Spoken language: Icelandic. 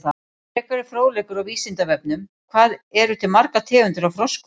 Frekari fróðleikur á Vísindavefnum: Hvað eru til margar tegundir af froskum?